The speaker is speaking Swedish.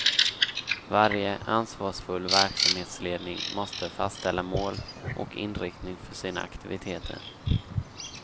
Varje ansvarsfull verksamhetsledning måste fastställa mål och inriktning för sina aktiviteter.